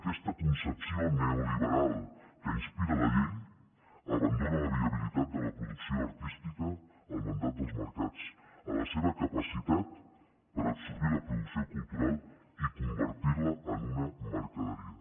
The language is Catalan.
aquesta concepció neoliberal que inspira la llei abandona la viabilitat de la producció artística al mandat dels mercats a la seva capacitat per absorbir la producció cultural i convertir la en una mercaderia